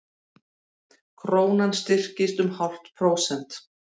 Krónan styrktist um hálft prósent